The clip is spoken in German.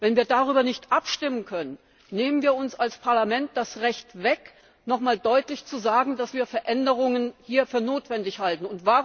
Wenn wir darüber nicht abstimmen können, geben wir als Parlament das Recht ab, nochmals deutlich zu sagen, dass wir Veränderungen hier für notwendig halten.